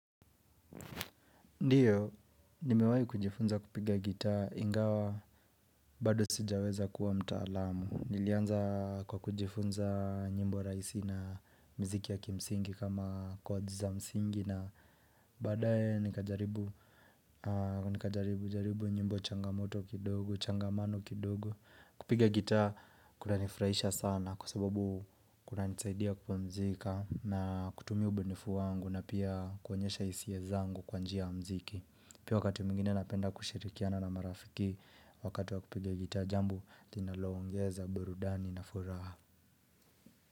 Ndio nimewahi kujifunza kupiga gitaa ingawa bado sijaweza kuwa mtaalamu Nilianza kwa kujifunza nyimbo raisi na mziki ya kimsingi kama kwad za msingi na badae nikajaribu nyimbo changamoto kidogo changamano kidogo kupiga gitaa kunanifurahisha sana kwa sababu kunanisaidia kupumzika na kutumia ubunifu wangu na pia kuonyesha hisia zangu kwa njia ya muziki pia wakati mwingine napenda kushirikiana na marafiki wakati wa kupiga gitaa jambo linalo ongeza burudani na furaha.